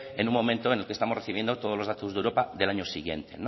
en un momento en que estamos recibiendo todos los datos de europa del año siguiente